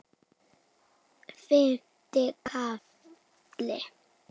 Fimmti kafli